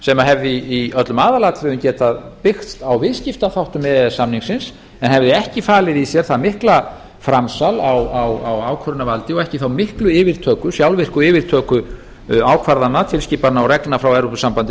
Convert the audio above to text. sem hefði í öllum aðalatriðum getað byggt á viðskiptaþáttum e e s samningsins en hefði ekki falið í sér það mikla framsal á ákvörðunarvaldi og ekki þá miklu sjálfvirku yfirtöku ákvarðana tilskipana og reglna frá evrópusambandinu